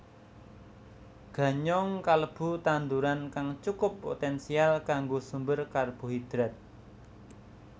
Ganyong kalebu tanduran kang cukup poténsial kanggo sumber karbohidrat